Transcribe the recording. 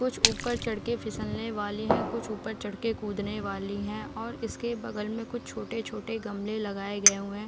कुछ ऊपर चढ़ के फिसलने वाले हैं कुछ ऊपर चढ़ के कूदने वाली हैं और इसके बगल मे कुछ छोटे-छोटे गमले लगाए गए हुए हैं |